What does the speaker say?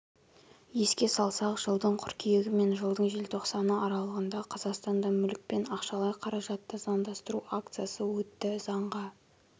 еске салсақ жылдың қыркүйегі мен жылдың желтоқсаны аралығында қазақстанда мүлік пен ақшалайқаражатты заңдастыру акциясы өтті заңға